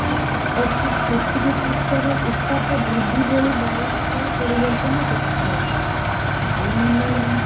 ଅର୍ଥାତ ପୃଥିବୀ ପୃଷ୍ଟରୁ ଉତ୍ତାପ ବୃଦ୍ଧି ଭଳି ବାୟୁମଣ୍ଡଳ ପରିବର୍ତନ ଦେଖାଯାଉଚି ଭୂମଣ୍ଡଳୀୟ